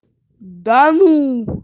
да ну